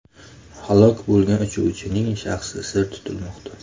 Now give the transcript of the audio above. Halok bo‘lgan uchuvchining shaxsi sir tutilmoqda.